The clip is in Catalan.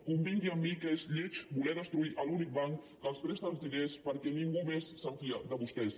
convingui amb mi que és lleig voler destruir l’únic banc que els presta els diners perquè ningú més se’n fia de vostès